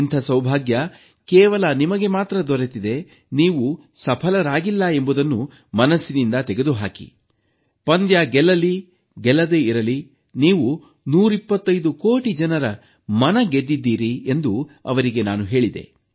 ಇಂಥ ಸೌಭಾಗ್ಯ ಕೇವಲ ನಿಮಗೆ ಮಾತ್ರ ದೊರೆತಿದೆ ನೀವು ಸಫಲರಾಗಿಲ್ಲ ಎಂಬುದನ್ನು ಮನಸ್ಸಿನಿಂದ ತೆಗೆದು ಹಾಕಿ ಪಂದ್ಯ ಗೆಲ್ಲಲಿ ಗೆಲ್ಲದೇ ಇರಲಿ ನೀವು 125 ಕೋಟಿ ಜನರ ಮನ ಗೆದ್ದಿದ್ದೀರಿ ಎಂದು ಅವರಿಗೆ ನಾನು ಹೇಳಿದೆ